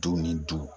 Du ni du